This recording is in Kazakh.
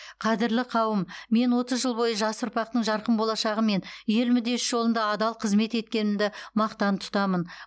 қадірлі қауым мен отыз жыл бойы жас ұрпақтың жарқын болашағы мен ел мүддесі жолында адал қызмет еткенімді мақтан тұтамын